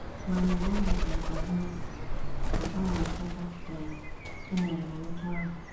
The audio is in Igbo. “ Ma mgbe ọ dara mbà n’obi, ” ka ọ na - ekweta um, “ emere m otú ahụ.